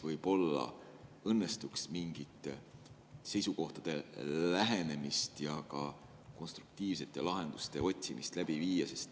Võib-olla õnnestuks saavutada mingite seisukohtade lähenemine ja otsida konstruktiivseid lahendusi.